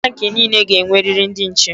Bank niile ga-enweriri ndị nche.